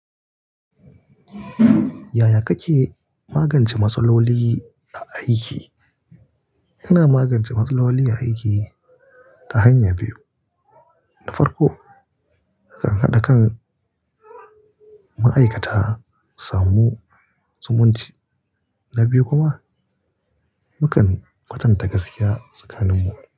Yaya kake magance matsaloli a aiki? Ina magance matsaloli a aiki ta hanya biyu. Na farko, nakan haɗa kan ma'aikata samu sumunti, na biyu kuma mukan kwatanta gaskiya tsakaninmu.